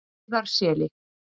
Heiðarseli